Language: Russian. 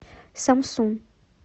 самсун